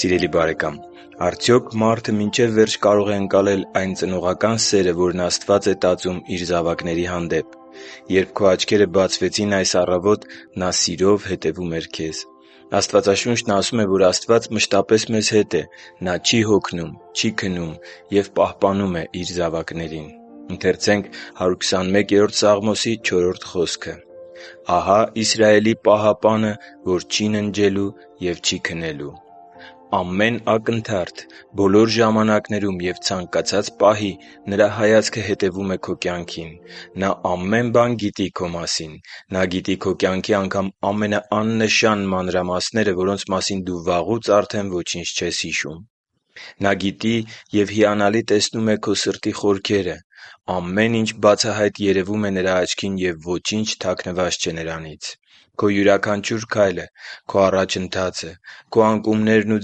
Սիրելի՛ բարեկամ, արդյոք մարդը մինչև վերջ կարո՞ղ է ընկալել այն ծնողական սերը, որն Աստված է տածում Իր զավակների հանդեպ։ Երբ քո աչքերը բացվեցին այս առավոտ, Նա սիրով հետևում էր քեզ: Աստվածաշունչն ասում է, որ Աստված մշտապես մեզ հետ է։ Նա չի հոգնում, չի քնում և պահպանում է Իր զավակներին։ «Ահա Իսրայելի պահապանը, որ չի ննջելու և չի քնելու» (Սաղմոս 121.4)։ Ամեն ակնթարթ, բոլոր ժամանակներում և ցանկացած պահի Նրա հայացքը հետևում է քո կյանքին: Նա ամեն բան գիտի քո մասին։ Նա գիտի քո կյանքի անգամ ամենաաննշան մանրամասները, որոնց մասին դու վաղուց արդեն ոչինչ չես հիշում: Նա գիտի և հիանալի տեսնում է քո սրտի խորքերը: Ամեն ինչ բացահայտ երևում է Նրա աչքին, և ոչինչ թաքցված չէ Նրանից: Քո յուրաքանչյուր քայլը, քո առաջընթացը, քո անկումներն ու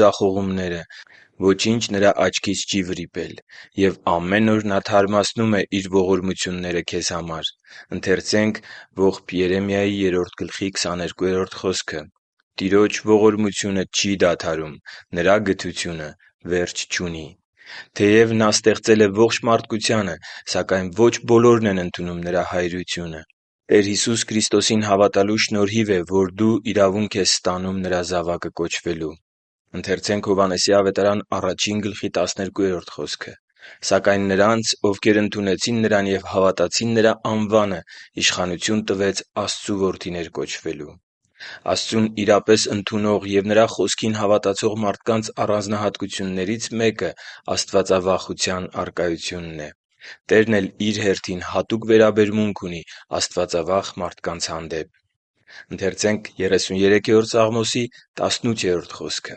ձախողումները... Ոչինչ Նրա աչքից չի վրիպել։ Եվ ամեն օր Նա թարմացնում է Իր ողորմությունները քեզ համար․ «Տիրոջ ողորմությունը չի դադարում, Նրա գթությունը վերջ չունի» (Երեմիայի ողբերը 3.22)։ Թեև Նա ստեղծել է ողջ մարդկությանը, սակայն ոչ բոլորն են ընդունում Նրա հայրությունը։ Տեր Հիսուս Քրիստոսին հավատալու շնորհիվ է, որ դու Նրա զավակը կոչվելու իրավունք ես ստանում։ «Սակայն նրանց, ովքեր ընդունեցին Նրան և հավատացին Նրա անվանը, իշխանություն տվեց Աստծու որդիները լինելու» (Հովհաննես 1․12): Աստծուն իրապես ընդունող և Նրա Խոսքին հավատացող մարդկանց առանձնահատկություններից մեկը աստվածավախության առկայությունն է։ Տերն էլ Իր հերթին հատուկ վերաբերմունք ունի աստվածավախ մարդկանց հանդեպ։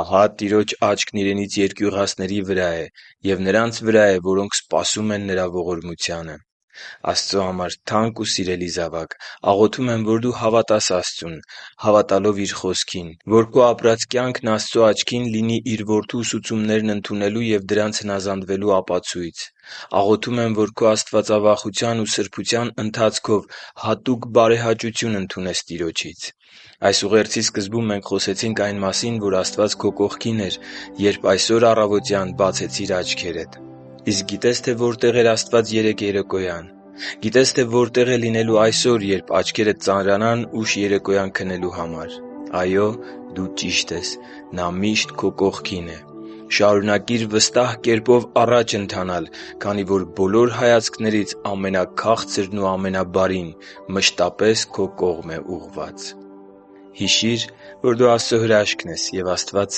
«Ահա Տիրոջ աչքն իրենից երկյուղածների վրա է և նրանց վրա է, որոնք սպասում են Նրա ողորմությանը» (Սաղմոս 33.18)։ Աստծո համար թանկ ու սիրելի՛ զավակ, աղոթում եմ, որ դու հավատաս Աստծուն՝ հավատալով Իր խոսքին, որ քո ապրած կյանքն Աստծո աչքին լինի Իր Որդու ուսուցումներն ընդունելու և դրանց հնազանդվելու ապացույց։ Աղոթում եմ, որ քո աստվածավախության ու սրբության ընթացքով հատուկ բարեհաճություն ընդունես Տիրոջից։ Այս ուղերձի սկզբում մենք խոսեցինք այն մասին, որ Աստված քո կողքին էր, երբ այսօր առավոտ բացեցիր աչքերդ։ Իսկ գիտե՞ս, թե որտեղ էր Աստված երեկ երեկոյան։ Գիտե՞ս, թե որտե՞ղ է լինելու այսօր, երբ աչքերդ ծանրանան ուշ երեկոյան քնելու համար։ Այո՛։ Դու ճիշտ ես։ Նա միշտ քո կողքին է։ Շարունակիր վստահ կերպով առաջ ընթանալ, քանի որ բոլոր հայացքներից ամենաքաղցրն ու ամենաբարին մշտապես քո կողմ է ուղղված։ Հիշի՛ր, որ դու Աստծո հրաշքն ես, և Աստված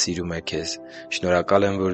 սիրում է քեզ։ Շնորհակալ եմ, որ